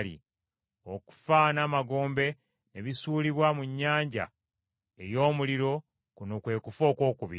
Okufa n’Amagombe ne bisuulibwa mu nnyanja ey’omuliro, kuno kwe kufa okwokubiri.